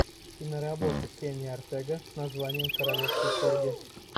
киноработа кенни ортега с названием королевский корги